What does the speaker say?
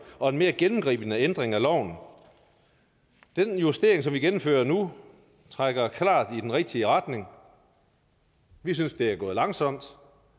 og en mere gennemgribende ændring af loven den justering som vi gennemfører nu trækker klart i den rigtige retning vi synes det er gået langsomt